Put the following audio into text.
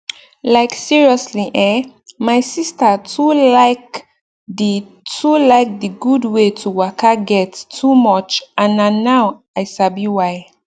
like seriously eh my sister too like d too like d gud wey to waka get too much and na now i sabi why